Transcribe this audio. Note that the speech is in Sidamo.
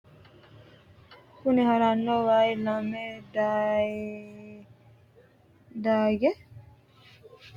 kuni haranno wayi lamu dayee xaadino base ikkitanna, konne waa maati yine woshshinanniho maiichi waati? konne waa doyiissite nooti muro kalaqamunnitenso mnnu kaasinote?